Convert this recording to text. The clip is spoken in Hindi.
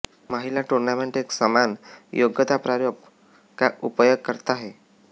महिला टूर्नामेंट एक समान योग्यता प्रारूप का उपयोग करता है